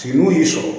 Tigiw y'i sɔrɔ